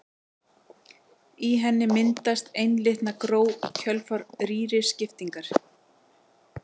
Í henni myndast einlitna gró í kjölfar rýriskiptingar.